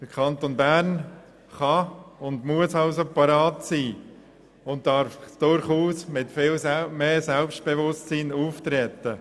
Der Kanton Bern kann und muss also bereit sein und darf durchaus mit mehr Selbstbewusstsein auftreten.